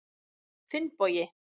Finnbogi